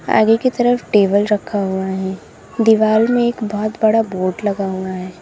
आगे की तरफ टेबल रखा हुआ है दीवाल में बहुत बड़ा बोर्ड लगा हुआ है।